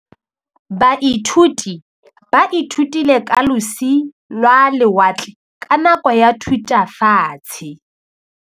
Baithuti ba ithutile ka losi lwa lewatle ka nako ya Thutafatshe.